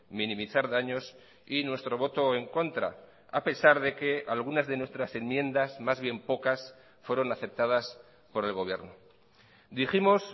minimizar daños y nuestro voto en contra a pesar de que algunas de nuestras enmiendas más bien pocas fueron aceptadas por el gobierno dijimos